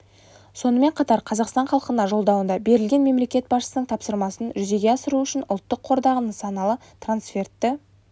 сонымен қатар қазақстан халқына жолдауында берілген мемлекет басшысының тапсырмасын жүзеге асыру үшін ұлттық қордағы нысаналы трансфертті